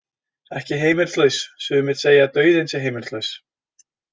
Ekki heimilislaus Sumir segja að dauðinn sé heimilislaus.